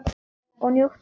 Og njóttu vel.